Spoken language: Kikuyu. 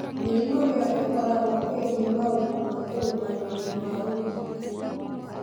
Mĩrimũ ĩyo ĩkoragwo ĩĩgiĩ maũndũ ma ũrũgamĩrĩri wa ũrigitani,